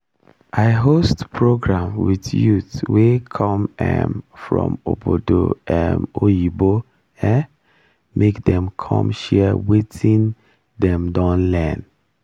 i host program with youth wey come um from ogbodo um oyinbo um make dem come share watin dem don learn